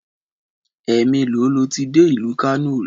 Ẹ̀ẹ̀mélòó lo ti dé ìlú Kano rí?